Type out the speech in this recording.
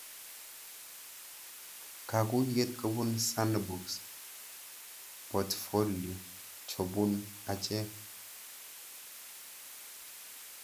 Kakuyet kopun Sandbox portfolio jopun achek